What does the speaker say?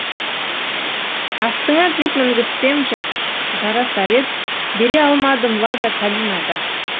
астыңа джип мінгізсем жарасар ед бере алмадым лада калина да